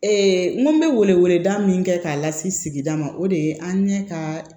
Ee n ko bɛ weleweleda min kɛ k'a lase sigida ma o de ye an ɲɛ ka